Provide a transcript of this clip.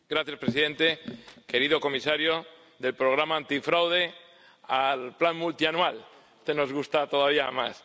Señor presidente, querido comisario, del Programa antifraude al plan multianual, que nos gusta todavía más.